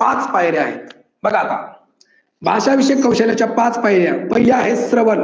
पाच पायऱ्या आहेत. बघा आता. भाषाविषयी कौशल्याच्या पाच पायऱ्या. पहिल्या आहेत श्रवण